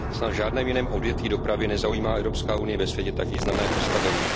Snad v žádném jiném odvětví dopravy nezaujímá Evropská unie ve světě tak významné postavení.